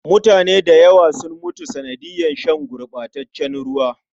Mutane da yawa sun mutu sanadiyar shan gurɓataccen ruwa.